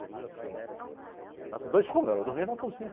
Dormiam assim na, na, com dois cômodos, elas dormiam na cozinha.